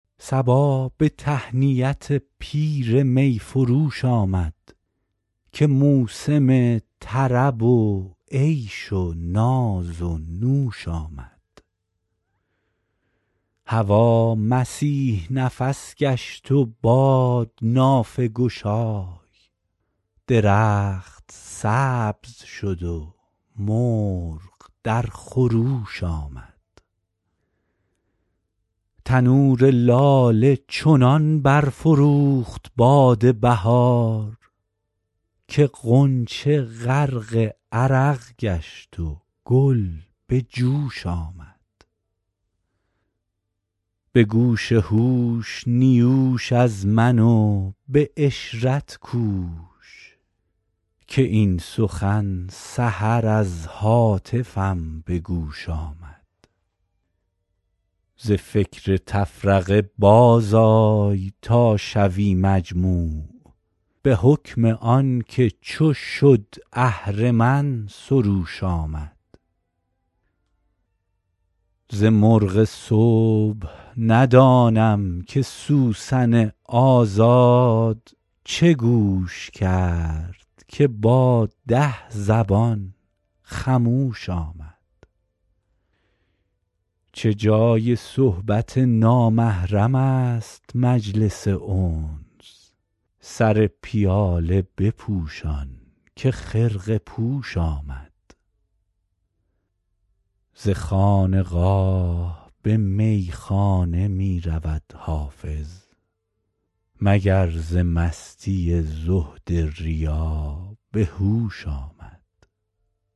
صبا به تهنیت پیر می فروش آمد که موسم طرب و عیش و ناز و نوش آمد هوا مسیح نفس گشت و باد نافه گشای درخت سبز شد و مرغ در خروش آمد تنور لاله چنان برفروخت باد بهار که غنچه غرق عرق گشت و گل به جوش آمد به گوش هوش نیوش از من و به عشرت کوش که این سخن سحر از هاتفم به گوش آمد ز فکر تفرقه بازآی تا شوی مجموع به حکم آن که چو شد اهرمن سروش آمد ز مرغ صبح ندانم که سوسن آزاد چه گوش کرد که با ده زبان خموش آمد چه جای صحبت نامحرم است مجلس انس سر پیاله بپوشان که خرقه پوش آمد ز خانقاه به میخانه می رود حافظ مگر ز مستی زهد ریا به هوش آمد